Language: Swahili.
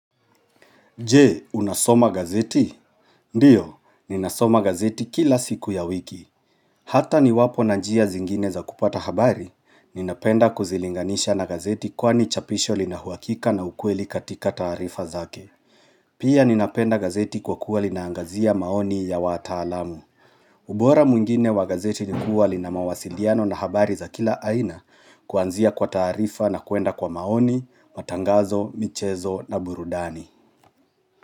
Jee, unasoma gazeti? Ndiyo, ninasoma gazeti kila siku ya wiki. Hata niwapo na njia zingine za kupata habari, ninapenda kuzilinganisha na gazeti kwani chapisho lina uwakika na ukweli katika taarifa zake. Pia ninapenda gazeti kwa kuwa linaangazia maoni ya wataalamu. Ubora mwingine wa gazeti nikuwa lina mawasiliano na habari za kila aina kuanzia kwa taarifa na kuenda kwa maoni, matangazo, michezo na burudani.